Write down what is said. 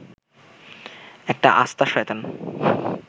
একটা আস্তা শয়তান